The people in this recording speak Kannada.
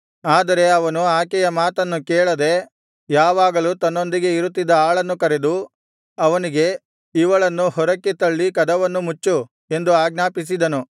ಆದರೆ ಅವನು ಆಕೆಯ ಮಾತನ್ನು ಕೇಳದೆ ಯಾವಾಗಲೂ ತನ್ನೊಂದಿಗೆ ಇರುತ್ತಿದ್ದ ಆಳನ್ನು ಕರೆದು ಅವನಿಗೆ ಇವಳನ್ನು ಹೊರಗೆ ತಳ್ಳಿ ಕದವನ್ನು ಮುಚ್ಚು ಎಂದು ಆಜ್ಞಾಪಿಸಿದನು